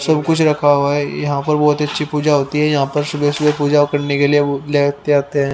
सब कुछ रखा हुआ है यहाँ पर बहुत अच्छी पूजा होती है यहाँ पर सुबह सुबह पूजा करने के लिए वो लेते आते हैं।